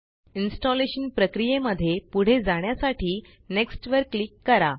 installation प्रक्रीये मध्ये पुढे जाण्यासाठी नेक्स्ट वर क्लिक करा